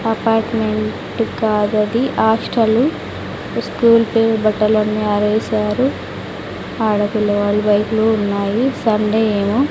Apartment కాదది hostel school పేరు బట్టలన్నీ ఆరేశారు ఆడపిల్ల వాళ్లు బైకులు ఉన్నాయి సండే ఏమో.